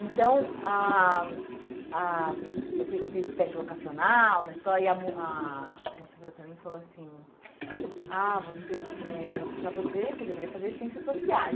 Então, ah ah eu fui eu fiz teste vocacional na escola e a mo a moça virou para mim e falou assim, ah você eh para você, você deveria fazer Ciências Sociais.